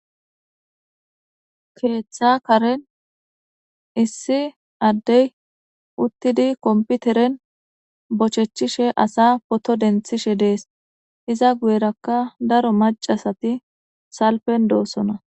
keeththa karen issi addey uttidi komputeren bochechishe asa poto denthishe dees iza guyerakka daro macasati salpen doossona